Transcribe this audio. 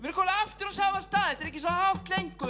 komnir aftur á sama stað þetta er ekki svo hátt lengur